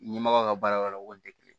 Ɲɛmɔgɔw ka baarayɔrɔ la o kun tɛ kelen ye